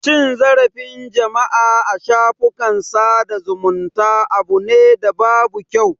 Cin zarafin jama'a a shafukan sada zumunta abu ne da babu kyau.